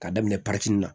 K'a daminɛ